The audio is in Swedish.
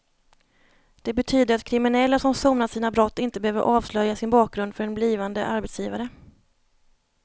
Det betyder att kriminella som sonat sina brott inte behöver avslöja sin bakgrund för en blivande arbetsgivare.